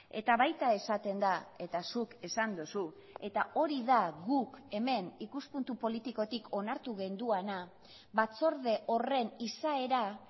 eta baita esaten da eta zuk esan duzu eta hori da guk hemen ikuspuntu politikotik onartu genuena batzorde horren izaera